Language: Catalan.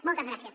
moltes gràcies